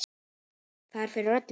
Það er fyrir öllu.